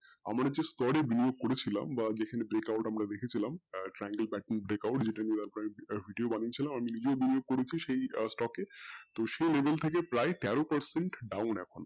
আমরা যে stock বিনিয়োগ করেছিলাম বা যে থাকে break out আমরা দাখেছিলাম triangle partybreak out যে টাকে video বানিয়েছিলাম আমি নিজেই বিনিয়োগ করেছি সেই stock তো সেই video থাকে প্রায় তেরো percent down এখন